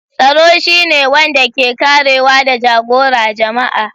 Tsaro shi ne wanda ke karewa da jagora jama'a.